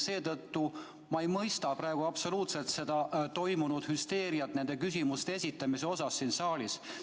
Seetõttu ei mõista ma absoluutselt seda hüsteeriat nende küsimuste esitamisel siin saalis.